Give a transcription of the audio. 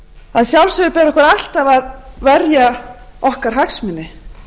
að sjálfsögðu ber okkur alltaf að verja okkar hagsmuni